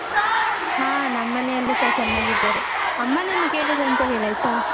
ಹಾ ನಮ್ಮನೆಯಲ್ಲಿಸ ಚನ್ನಾಗಿದ್ದರೆ, ಅಮ್ಮನನ್ನು ಕೇಳಿದೆ ಅಂತ ಹೇಳಯ್ತಾ?